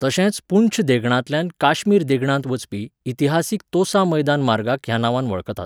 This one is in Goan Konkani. तशेंच पुंछ देगणांतल्यान काश्मीर देगणांत वचपी इतिहासीक तोसा मैदान मार्गाक ह्या नांवान वळखतात.